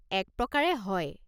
এক প্ৰকাৰে, হয়।